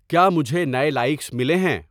کیا مجھے نئے لائیکس ملے ہیں؟